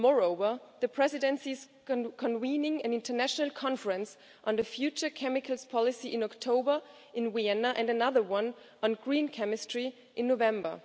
Moreover, the Presidency is convening an international conference on the future chemicals policy in October in Vienna and another one on green chemistry in November.